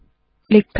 click करे